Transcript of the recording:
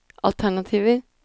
alternativer